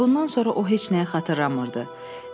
Və bundan sonra o heç nəyi xatırlamırdı.